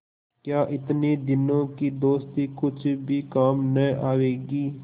क्या इतने दिनों की दोस्ती कुछ भी काम न आवेगी